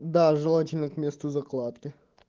да желательно к месту закладки